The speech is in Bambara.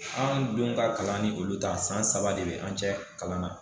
An dun ka kalan ni olu ta san saba de be an cɛ kalan na